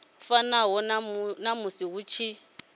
fanaho na musi hu tshi